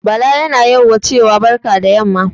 Bala yana yauwa cewa barka da yamma